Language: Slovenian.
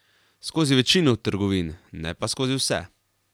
Skozi večino trgovin, ne pa skozi vse.